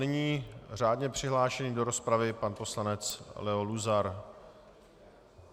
Nyní řádně přihlášený do rozpravy pan poslanec Leo Luzar.